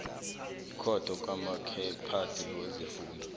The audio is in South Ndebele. ikhotho kamaziphathe wesifunda